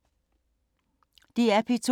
DR P2